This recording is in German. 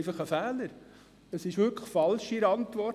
Es handelt sich um einen Fehler in der Antwort.